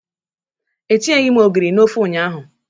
Etinyeghị m ogiri na ofe ụnyahụ.